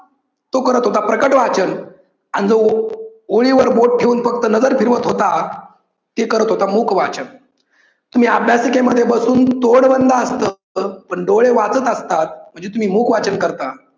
तो करत होता प्रकट वाचन अन जो ओळीवर बोट ठेऊन फक्त नजर फिरवत होता ते करत होता मुख वाचन तुम्ही अभ्यासिकेमध्ये असून तोंड बंद असतं पण डोळे वाचत असतात म्हणजेच तुम्ही मुख वाचन करता.